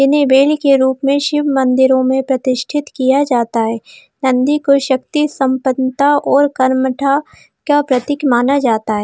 उन्हें बैल के रूप में शिव मंदिरों में प्रतिष्ठित किया जाता है नंदी को शक्ति सम्पनता और कर्मठा का प्रतीक माना जाता है।